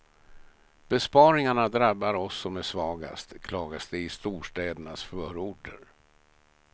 Besparingarna drabbar oss som är svagast, klagas det i storstädernas förorter.